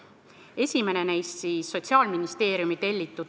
Esimene neist oli Sotsiaalministeeriumi tellitud.